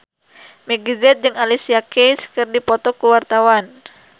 Meggie Z jeung Alicia Keys keur dipoto ku wartawan